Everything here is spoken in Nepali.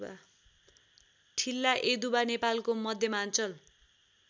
ठिल्लायदुवा नेपालको मध्यमाञ्चल